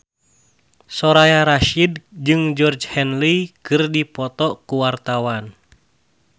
Soraya Rasyid jeung Georgie Henley keur dipoto ku wartawan